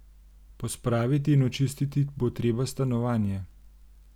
Pospraviti in očistiti bo treba stanovanje.